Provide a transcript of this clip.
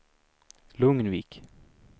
Lugnvik